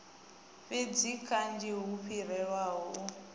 fhidzi kanzhi hu fhirelaho u